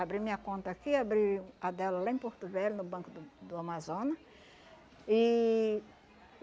Abri minha conta aqui, abri a dela lá em Porto Velho, no Banco do do Amazonas. E